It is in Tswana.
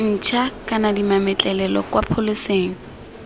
ntšha kana dimametlelelo kwa pholeseng